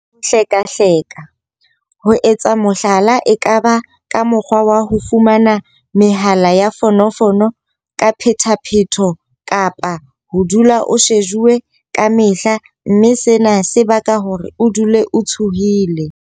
Ho hlekahleka- ho etsa mohlala e ka ba ka mokgwa wa ho fumana mehala ya fono fono ka phethaphetho kapa ho dula o shejuwe ka mehla mme sena se baka hore o dule o tshohile.